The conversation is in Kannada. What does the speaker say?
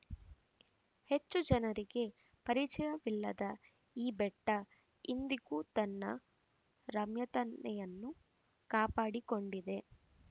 ಹೆಚ್ಚು ಜನರಿಗೆ ಪರಿಚಯವಿಲ್ಲದ ಈ ಬೆಟ್ಟ ಇಂದಿಗೂ ತನ್ನ ರಮ್ಯತನೆಯನ್ನು ಕಾಪಾಡಿಕೊಂಡಿದೆ